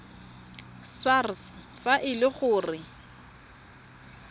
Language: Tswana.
sars fa e le gore